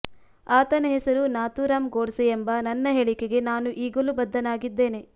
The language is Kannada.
ಆತನ ಹೆಸರು ನಾಥೂರಾಮ್ ಗೋಡ್ಸೆ ಎಂಬ ನನ್ನ ಹೇಳಿಕೆಗೆ ನಾನು ಈಗಲೂ ಬದ್ಧನಾಗಿದ್ದೇನೆ